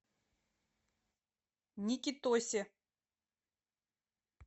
никитосе